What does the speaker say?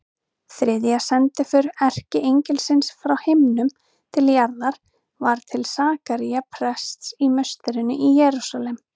Þriðja sendiför erkiengilsins frá himnum til jarðar var til Sakaría prests í musterinu í Jerúsalem.